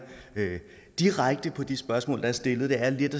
direkte på de spørgsmål der er stillet det er lidt